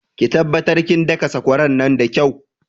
Ki taɓattar kin daka sakwara nan da kyau